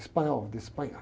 Espanhol de Espanha.